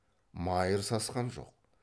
майыр сасқан жоқ